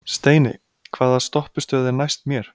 Steini, hvaða stoppistöð er næst mér?